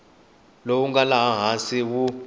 lowu nga laha hansi wu